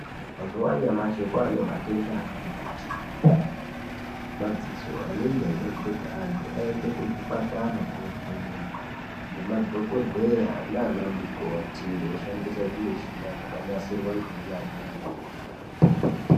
Mazuva anyamashi kwane matenda akati kuti emadziso anenge achida kuti vantu vaende kuzvibhedhlera kovhenekwa ngemadhokodheya nana mukoti veishandisa zvimuchina zvakanasirwa ngeunyanzvi ukurutu.